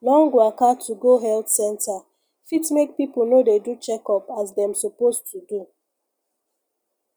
long waka to go health center fit make people no dey do checkup as dem suppose to do